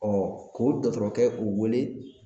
k'o dɔgɔtɔrɔkɛ o wele